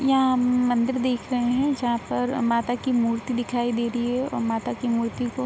यहाँ हम मंदिर देख रहे हैं जहाँ पर माता की मूर्ति दिखाई दे रही है और माता की मूर्ति को --